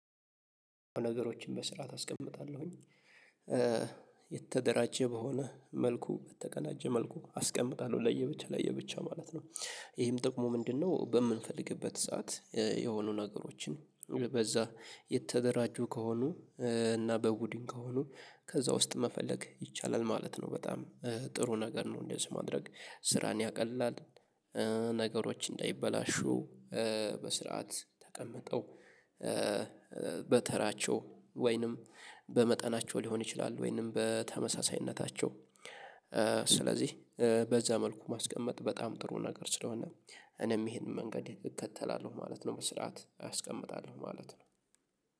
ነገሮችን በስርዓት አስቀምጣለሁኝ የተደራጀ በሆነ መልኩ በተቀናጀ መልኩ አስቀምጣለሁ ለየብቻ ለየብቻ ማለት ነው። ይሄም ጥቅሙ ምንድነው? በምንፈልግበት ሰዓት የሆኑ ነገሮችን በዛ የተደራጁ ከሆኑ እና በቡድን ከሆኑ ከዛ ውስጥ መፈለግ ይቻላል ማለት ነው በጣም ጥሩ ነገር ነው እንደዚህ ማድረግ ስራን ያቀላል። ነገሮች እንዳይበላሹ በስርዓት ተቀምጠው። በተራቸው ወይንም በመጠናቸው ሊሆን ይችላል ወይንም በተመሳሳይነታቸው። ስለዚህ በዛ መልኩ ማስቀመጥ በጣም ጥሩ ነገር ስለሆነ እኔም ይሄንን መንገድ እከተላለሁ ማለት ነው። በስርዓት አስቀምጣለሁ ማለት ነው።